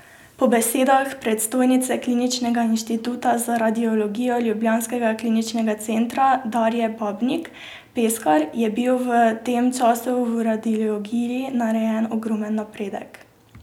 Po besedah predstojnice kliničnega inštituta za radiologijo ljubljanskega kliničnega centra Darje Babnik Peskar je bil v tem času v radiologiji narejen ogromen napredek.